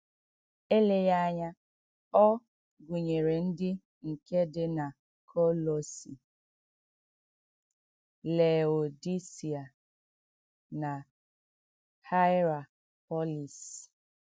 Èleghị anya ọ gụnyere ndị nke dị na Kọlọsi, Leodisia, na Haịrapọlis.